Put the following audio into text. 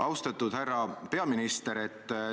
Austatud härra peaminister!